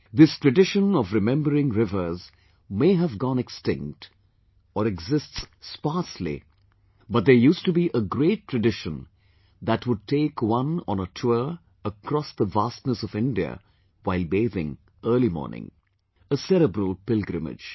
This tradition of remembering rivers may have gone extinct or exists sparsely...but there used to be a great tradition that would take one on a tour across the vastness of India while bathing early morning...a cerebral pilgrimage